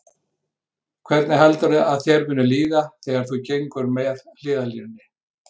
Hvernig heldurðu að þér muni líða þegar þú gengur með hliðarlínunni?